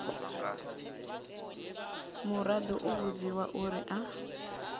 muraḓo u vhudziwa uri a